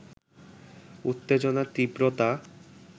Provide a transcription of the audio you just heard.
উত্তেজনার তীব্রতা